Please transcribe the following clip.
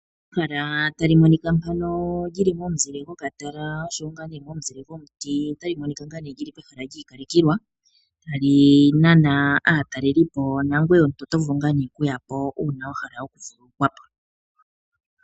Ehala tali monika mpano li li momuzile gokatala nosho wo momuzile gomuti, otali monika li li pehala li ikalekelwa, tali nana aatalelipo nangoye omuntu oto vulu okuya po uuna wa hala okuvululukwa po.